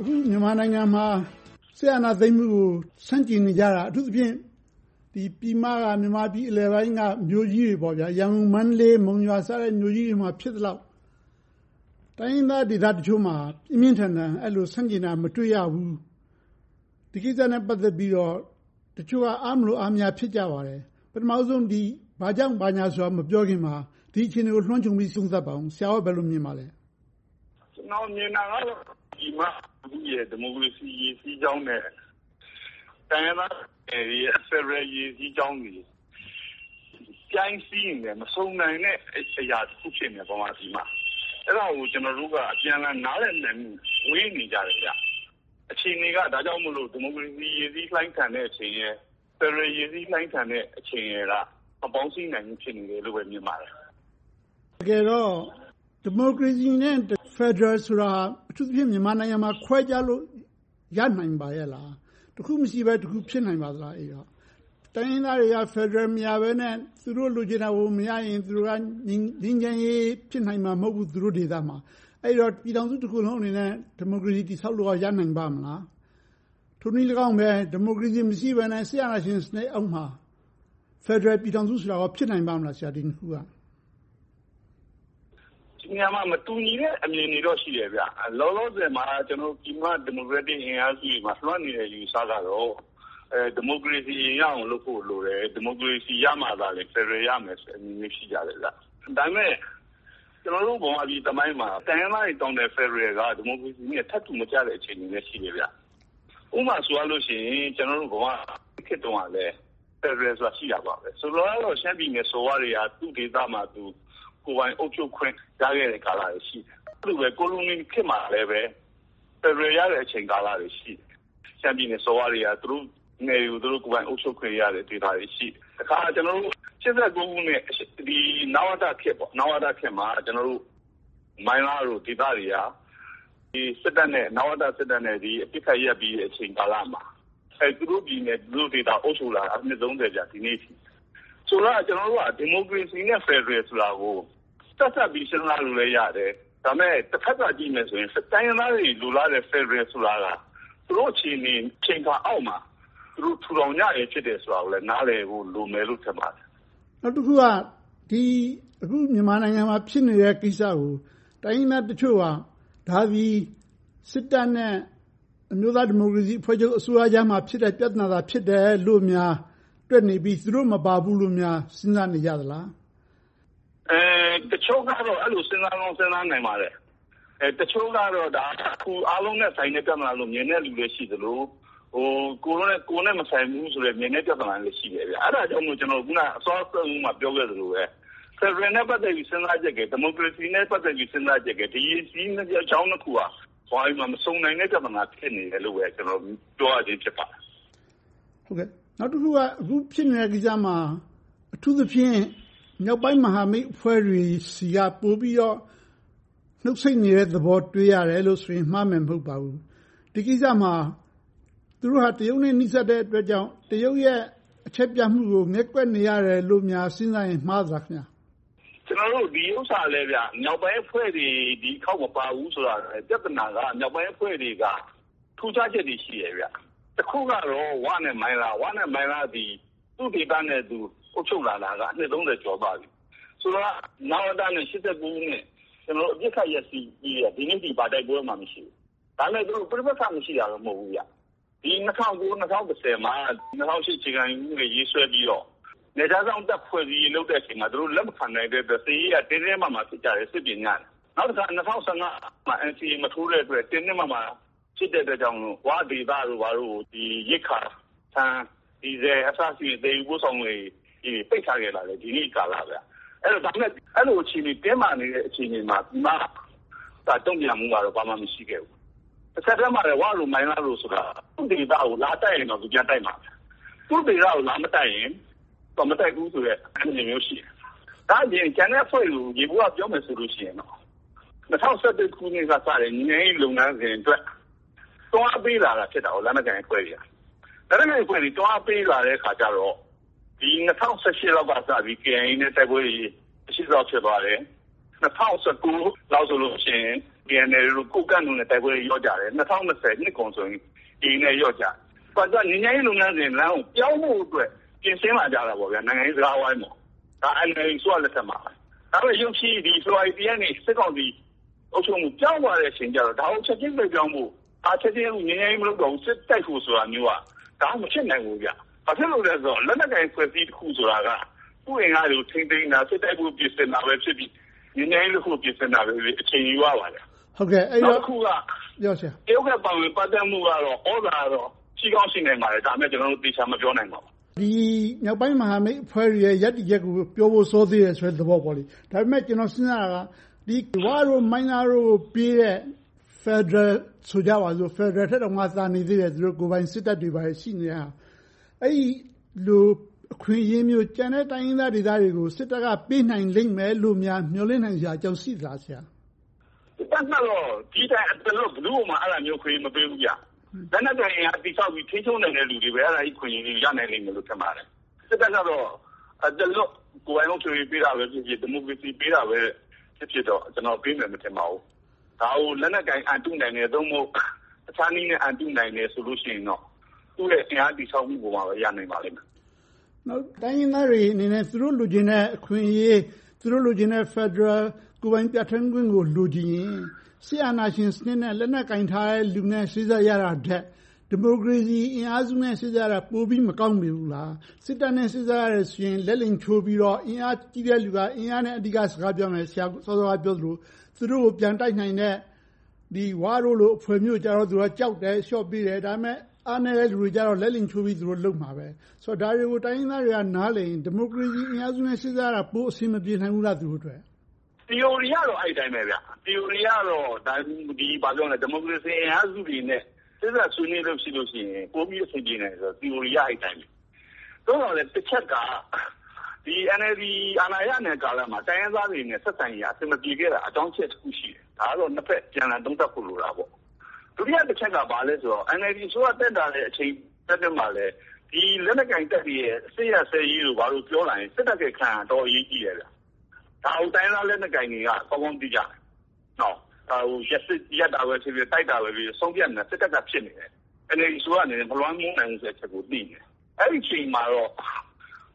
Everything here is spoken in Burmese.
အခုမြန်မာနိုင်ငံမှာ စစ်အာဏာသိမ်းမှုကို ဆန့်ကျင်နေကြတာ အထူးသဖြင့် ပြည်မက မြန်မာပြည်အလယ်ပိုင်းက မြို့ ကြီးတွေ ရန်ကုန်၊ မန္တလေး၊ မုံရွာစတဲ့ မြို့ကြီးတွေမှာ ဖြစ်သလောက် တိုင်းရင်းသားဒေသတချို့မှာ ပြင်းပြင်းထန်ထန် အဲဒီလို ဆန့်ကျင်တာ မတွေ့ရဘူး။ ဒီကိစ္စနဲ့ ပတ်သက်ပြီးတော့ တချို့က အားမလိုအားမရ ဖြစ်ကြပါတယ်။ ပထမဦးဆုံး ဘာကြောင့်ဘာညာဆိုတာကို မပြောခင်မှာ ဒီအခြေအနေကို လွှမ်းခြုံပြီး သုံးသပ်ပါအုံး။ ဆရာ့အနေနဲ့ ဘယ်လိုမြင်ပါသလဲ။ ကျနော်မြင်တာကတော့ ပြည်မလူထုရဲ့ ဒီမိုကရေစီ ရေစီးကြောင်းနဲ့ တိုင်းရင်းသားတွေရဲ့ ဖယ်ဒရယ်ရေစီးကြောင်းတွေက ပြိုင်စီးနေတဲ့ မဆုံနိုင်တဲ့အရာ တစ်ခုဖြစ်နေတယ်။ ဗမာပြည်မှာ။ အဲဒါကို ကျနော်တို့က အပြန်အလှန် နားလည်နိုင်မှု ဝေးနေကြတယ်။ အခြေအနေက ဒါကြောင့်မို့လို့ ဒီမိုကရေစီ ရေစီလှိုင်းထန်တဲ့အချိန်ရယ်၊ ဖယ်ဒရယ် ရေစီးလှိုင်းထန်တဲ့အချိန်ရယ်က မပေါင်းစည်းနိုင်ဘူးလို့ပဲ ထင်ပါတယ်။ တကယ်တော့ ဒီမိုကရေစီနဲ့ ဖယ်ဒရယ်ဆိုတာ အထူးသဖြင့် မြန်မာနိုင်ငံမှာ ခွဲခြားလို့ ရနိုင်ပါရဲ့လား။ တစ်ခုမရှိဘဲ တစ်ခု ဖြစ်နိုင်ပါလား။ အဲဒီတော့ တိုင်းရင်းသားတွေက ဖယ်ဒရယ်မရဘဲနဲ့ သူတို့လိုချင်တာကို မရရင် ငြိမ်းချမ်းရေး သူတို့ဒေသမှာ ဖြစ်နိုင်မှာ မဟုတ်ဘူး။ အဲဒီတော့ ပြည်ထောင်စုတစ်ခုလုံးအနေနဲ့ ဒီမိုကရေစီ တည်ဆောက်ဖို့ ရနိုင်ပါ့မလား။ ထိုနည်းလည်းကောင်းပဲ ဒီမိုကရေစီ မရှိဘဲနဲ့ စစ်အာဏာရှင်စနစ်အောက်မှာ ဖယ်ဒရယ်ပြည်ထောင်စုဆိုတာ ဖြစ်နိုင်ပါ့မလား။ ဒီနှစ်ခုက။ ဒီနေရာမှာ မတူညီတဲ့ အမြင်တွေတော့ ရှိတယ်။ လောလောဆယ်မှာ ပြည်မဒီမိုကရက်တစ်အင်အားစုတွေမှာ လွှမ်းနေတဲ့ အယူအဆကတော့ ဒီမိုကရေစီ အရင်ရဖို့လိုတယ်။ ဒီမိုကရေစီရမှသာ ဖယ်ဒရယ် ရမယ်ဆိုတာမျို ရှိကြတယ်။ ဒါပေမဲ့ ကျနော်တို့ ဗမာပြည်သမိုင်းမှာ တိုင်းရင်းသားတွေတောင်းတဲ့ ဖယ်ဒရယ်က ဒီမိုကရေစီနဲ့ ထပ်တူမကျတဲ့ အချိန်တွေလည်း ရှိတယ်။ ဥပမာဆိုရင် ကျနော်တို့ - ခေတ်တုန်းကလည်း ဖယ်ဒရယ်ဆိုတာ ရှိတယ်ပဲ။ ဆိုလိုတာကတော့ ရှမ်းပြည်နယ် စော်ဘွားတွေက သူ့ဒေသမှာသူ ကိုယ်ပိုင်အုပ်ချုပ်ခွင့်ကာလတွေ ရှိခဲ့တယ်။ ကိုလိုနီခေတ်မှာလည်း ဖယ်ဒရယ်ရတဲ့ ကာလတွေ ရှိတယ်။ ရှမ်းပြည်နယ်စော်ဘွားတွေက သူတို့ကိုယ်ပိုင် နယ်မြေတွေကို ကိုယ်ပိုင်အုပ်ချုပ်ခွင့်ရတဲ့ ဒေသတွေ ရှိတယ်။ တခါ ၈၉ ခုနှစ် နဝတခေတ်မှာ မိုင်းလားလို ဒေသတွေက နဝတစစ်တပ်နဲ့ အပစ်ခတ်ရပ်ပြီး အချိန်ကာလမှာ သူတို့ပြည်နယ်၊ သူတို့ဒေသတွေကို အုပ်စိုးလာတာ ဒီနေ့အထိ။ ဆိုတော့ ကျနော်တို့က ဒီမိုကရေစီနဲ့ ဖယ်ဒရယ်ဆိုတာကို ဆက်စပ်ပြီး စဉ်းစားလို့လည်း ရတယ်။ ဒါပေမဲ့ တဘက်သတ် ကြည့်မယ်ဆိုရင် တိုင်းရင်းသားတွေ လိုလားတဲ့ ဖယ်ဒရယ်ဆိုတာက သူတို့အခြေအနေ အချိန်အခါအောက်မှာ သူတို့ ထူထောင်ကြခြင်း ဖြစ်တယ်ဆိုတာကိုလည်း နားလည်ဖို့ လိုမယ်လို့ထင်ပါတယ်။ နောက်တစ်ခုက အခုမြန်မာနိုင်ငံမှာ ဖြစ်နေတဲ့ကိစ္စကို တိုင်းရင်းသားတချို့က ဒါသည် စစ်တပ်နဲ့ အမျိုးသားဒီမိုကရေစီအဖွဲ့ချုပ် အစိုးရကြားမှာ ဖြစ်တဲ့ ပြဿနာသာ ဖြစ်တယ်လို့များ တွက်နေပြီး သူတို့မပါဘူးလို့များ စဉ်းစားနေကြသလား။ တချို့ကတော့ အဲဒီလိုမျိုး စဉ်းစားကောင်း စဉ်းစားပါလိမ့်မယ်။ တချို့ကတော့ အားလုံးနဲ့ သက်ဆိုင်တဲ့ ပြဿနာလို့ မြင်တဲ့လူလည်း ရှိသလို၊ ကိုယ်နဲ့မဆိုင်ဘူးဆိုပြီး မြင်တဲ့လူလည်း ရှိပါတယ်။ အဲဒါကြောင့်မို့ အခုနစောစောက ပြောခဲ့သလိုပဲ ဖယ်ဒရယ်နဲ့ ပတ်သက်ပြီး စဉ်းစားချက်ရယ်၊ ဒီမိုကရေစီနဲ့ ပတ်သက်ပြီး စဉ်းစားချက်ရယ်။ ဒီရေစီးကြောင်းနှစ်ခုက ဗမာပြည်မှာ မဆုံနိုင်တဲ့ ပြဿနာလို့ပဲ ကျနော် ပြောရခြင်း ဖြစ်ပါတယ်။ နောက်တစ်ခုက အခုဖြစ်နေတဲ့ကိစ္စမှာ အထူးသဖြင့် မြောက်ပိုင်းမဟာမိတ်အဖွဲ့တွေဆီက ပိုပြီးတော့ နှုတ်ဆိတ်နေတဲ့သဘော တွေ့ရတယ်လို့ဆိုရင် မှားမယ်မဟုတ်ပါဘူး။ ဒီကိစ္စမှာ သူတို့က တရုတ်နဲ့ နီးစပ်တဲ့အတွက်ကြောင့် တရုတ်ရဲ့ အချက်ပြမှုကို ငဲ့ကွက်နေရတယ်လို့များ စဉ်းစားရင် မှားသလား။ ဒီဥစ္စာလဲ မြောက်ပိုင်းအဖွဲ့တွေ ဒီတစ်ခေါက်မပါဘူးဆိုတာ ပြဿနာက မြောက်ပိုင်းအဖွဲ့တွေက ထူးခြားချက်တွေ ရှိတယ်။ တစ်ခုကတော့ ဝနဲ့မိုင်းလားတို့သည် သူ့ဒေသနဲ့သူ အုပ်ချုပ်လာတာက အနှစ် ကျော်သွားပြီ။ ဆိုတာက နဝတနဲ့ ၈၉ ခုနှစ် အပစ်ခတ်ရပ်စဲပြီး ဒီနေ့အထိ ဘာတိုက်ပွဲမှ မရှိဘူး။ ဒါပေမဲ့ သူတို့ ပဋိပက္ခ မရှိတာတော့ မဟုတ်ဘူး။ ဒီ ၂၀၀၉-၂၀၁၀ မှာ ၂၀၀၈ အခြေခံဥပဒေ ရေးဆွဲပြီးတော့ နယ်ခြားစောင့်တပ် ဖွဲ့စည်းရေးလုပ်တဲ့အချိန်တုန်းက သူတို့လက်မခံတဲ့အတွက် စစ်ရေးအရ တင်းတင်းမာမာ ဖြစ်ကြတယ်။ စစ်ပြင်ကြတယ်။ နောက်တစ်ခါ ၂၀၁၅ မှာ NCA မထိုးတဲ့အတွက် တင်းတင်းမာမာ ဖြစ်တဲ့အတွက်ကြောင့်မို့ ဝဒေသတို့ကို ရိက္ခာ ဆန်၊ ဒီဇယ် အစရှိသဖြင့် သယ်ယူပို့ဆောင်ရေးတွေ ပိတ်ထားခဲ့တာ ဒီနေ့အထိကာလ။ ဒါပေမဲ့ ဒီလိုတင်းမာနေတဲ့ အခြေအနေမှာ ပြည်မတုံ့ပြန်မှုကတော့ ဘာမှမရှိခဲ့ဘူး။ တဆက်တည်းမှာလဲ ဝတို့ မိုင်းလားတို့ ဆိုတာကလဲ သူ့ဒေသကို လာတိုက်ရင်တော့ ပြန်တိုက်မှာပဲ။ သူ့ဒေသကို လာမတိုက်ရင် မတိုက်ဘူးဆိုတဲ့ အနေအထားမျိုး ရှိတယ်။ ဒါ့အပြင် ကျန်တဲ့အဖွဲ့တွေကို ယေဘုယျပြောရရင် ၂၀၁၁ ခုနှစ်ကစတဲ့ ငြိမ်းချမ်းရေးလုပ်ငန်းစဉ်အတွက် တွန်းအားပေးတာ ဖြစ်တာက လက်နက်ကိုင်အဖွဲ့တွေ။ လက်နက်ကိုင်အဖွဲ့တွေ တွန်းအားပေးလာတဲ့အခါကြတော့ ၂၀၁၈ လောက်ကစပြီး KIA နဲ့ တိုက်ပွဲတွေ မရှိသလောက် ဖြစ်သွားတယ်။ ၂၀၁၉ လောက်ဆိုရင် KNLA, ကိုးကန့်တို့နဲ့ တိုက်ပွဲတွေ လျော့ကျသွားတယ်။ ၂၀၂၀ နှစ်ကုန်ဆိုရင် AA နဲ့ လျော့ကျတယ်။ ငြိမ်းချမ်းရေးလုပ်ငန်းစဉ်လမ်းကို ပြောင်းဖို့အတွက် ပြင်ဆင်လာကြတယ်။ နိုင်ငံရေးစကားဝိုင်းအတွက်။ ဒါက NLD အစိုးရလက်ထက်မှာ။ ဒါပေမဲ့ ရုတ်ချည်း ဖေဖေါ်ဝါရီလ ရက်နေ့မှာ စစ်ကောင်စီ အုပ်ချုပ်ရေး ပြောင်းသွားတဲ့အခါကြတော့ ဒါကိုချက်ချည်းလွှဲပြောင်းဖို့၊ ချက်ချည်းငြိမ်းချမ်းရေး မလုပ်တော့ဘူး၊ စစ်တိုက်ဖို့ဆိုတာမျိုးက မဖြစ်နိုင်ဘူး။ ဘာဖြစ်လို့လဲဆိုတော့ လက်နက်ကိုင်အဖွဲ့အစည်းတစ်ခုဆိုတာက သူ့အင်အားတွေကို ထိန်းသိမ်းတာ၊ စစ်တိုက်ဖို့ ပြင်ဆင်တာပဲဖြစ်စေ၊ ငြိမ်းချမ်းရေးတစ်ခုကို ပြင်ဆင်တာပဲဖြစ်စေ အချိန်ယူပါတယ်။ နောက်တစ်ခုက တရုတ်ရဲ့ ပါဝင်ပတ်သက်မှုကတော့ သြဇာလွှမ်းမိုးမှုကတော့ ရှိကောင်းရှိနိုင်ပါတယ်။ ဒါပေမဲ့ ဒါကို ကျနော်တို့ သေချာမပြောနိုင်ပါဘူး။ မြောက်ပိုင်းမဟာမိတ်တွေရဲ့ ရပ်တည်ချက်ကို ပြောဖို့ စောသေးတယ်ဆိုတဲ့ သဘောမျိုးပေါ့။ ဒါပေမဲ့ ကျနော်စဉ်းစားတာက ဝတို့၊ မိုင်းလားတို့ကိုပေးတဲ့ ဖယ်ဒရယ်ဆိုကြပါစို့။ ဖယ်ဒရယ်ထက်တောင် သာနေသေးတယ်။ ကိုယ်ပိုင်စစ်တပ်တွေ ဘာတွေ ရှိနေတဲ့ဟာ။ အဲဒီလို အခွင့်အရေးမျိုး ကျန်တဲ့ တိုင်းရင်းသားဒေသတွေကို စစ်တပ်က ပေးနိုင်လိမ့်မယ်လို့များ မျှော်လင့်နိုင်စရာ အကြောင်းရှိလား။ စစ်တပ်ကတော့ ဒီထက် ဘယ်သူကိုမှ အသားလွှတ် မပေးဘူး။ လက်နက်ကိုင်အင်အား တည်ဆောက်ပြီး ထိန်းချုပ်နိုင်တဲ့ လူတွေကိုပဲ အဲဒီအခွင့်အရေး ရနိုင်လိမ့်မယ်လို့ ထင်ပါတယ်။ စစ်တပ်ကတော့ အသားလွှတ် ကိုယ်ပိုင်အုပ်ချုပ်ရေး ပေးတာပဲဖြစ်ဖြစ်၊ ဒီမိုကရေစီ ပေးတာပဲဖြစ်ဖြစ် ကျနော်ကတော့ ပေးမယ်မထင်ပါဘူး။ ဒါကို လက်နက်ကိုင် အန်တုနိုင်တယ်၊ ဒါမှမဟုတ် တခြားနည်းနဲ့ အန်တုနိုင်တယ်ဆိုရင်တော့ သူရဲ့ အင်အားတည်ဆောက်မှုပေါ်မှာပဲ ရနိုင်ပါလိမ့်မယ်။ နောက် တိုင်းရင်းသားတွေအနေနဲ့ သူတို့လိုချင်တဲ့ အခွင့်အရေး သူတို့လိုချင်တဲ့ ဖယ်ဒရယ် ကိုယ်ပိုင်ပြဌာန်းခွင့်ကို လိုချင်ရင် စစ်အာဏာရှင်စနစ်နဲ့ လက်နက်ကိုင်လူတွေနဲ့ စေ့စပ်ညှိနှိုင်းပေးရတာထက် ဒီမိုကရေစီအင်အားစုတွေနဲ့ စေ့စပ်ရတာ ပိုပြီးမကောင်းမနေဘူးလား။ စစ်တပ်နဲ့ စေ့စပ်ရရင် လက်လိမ်ချိုးပြီးတော့ အင်အားကြီးတဲ့လူက အင်အားနဲ့ စကားပြောမယ်။ ဆရာ စောစောကပြောသလို သူတို့ကို ပြန်တိုက်နိုင်တဲ့ ဝတို့လို အဖွဲ့မျိုးကြတော့ သူက ကြောက်တယ်၊ အလျှော့ပေးတယ်။ ဒါပေမဲ့ အားနည်းတဲ့လူတွေကြတော့ လက်လိမ်ချိုးပြီး သူတို့လုပ်မှာပဲ။ ဆိုတော့ ဒါတွေကို တိုင်းရင်းသားတွေက နားလည်တယ်ဆိုရင် ဒီမိုကရေစီအင်အားစုနဲ့ စေ့စပ်ရတာ ပိုအဆင်မပြေနိုင်ဘူးလား သူတို့အတွက်။ သီအိုရီအရတော့ အဲဒီအတိုင်းပဲ သီအိုရီအရတော့ ဒီမိုကရေစီအင်အားစုတွေနဲ့ စေ့စပ်ဆွေးနွေးလို့ရှိရင် ပိုပြီးအဆင်ပြေနိုင်တယ်လို့ သီအိုရီအရ ဖြစ်နိုင်တယ်။ သို့သော်လဲ တစ်ချက်က NLD အာဏာရနေတဲ့ ကာလမှာ တိုင်းရင်းသားတွေနဲ့ အဆင်မပြေခဲ့တာ အကြောင်းအချက် တစ်ခုရှိတယ်။ ဒါကတော့ နှစ်ဘက်အပြန်အလှန် သုံးသပ်ဖို့ လိုတာပေါ့။ ဒုတိယတစ်ချက်က ဘာလဲဆိုတော့ NLD အစိုးရတက်လာတဲ့ အချိန်အတွင်းမှာ လက်နက်ကိုင်တပ်တွေရဲ့ စစ်ရပ်စဲရေးတို့ ဘာတို့ပြောလာရင် စစ်တပ်ရဲ့ အခန်းကဏ္ဍက တော်တော်အရေးကြီးတယ်။ ဒါကို တိုင်းရင်းသားလက်နက်ကိုင်တွေက ကောင်းကောင်းသိကြတယ်။ ဒါကို ရပ်တာပဲဖြစ်ဖြစ်၊ တိုက်တာပဲဖြစ်ဖြစ် ဆုံးဖြတ်နိုင်တာ စစ်တပ်က ဖြစ်နေတယ်။ NLD အစိုးရအနေနဲ့ မလွှမ်းမိုးနိုင်ဘူးဆိုတဲ့ အချက်ကို သိနေတယ်။ အဲဒီအချိန်မှာတော့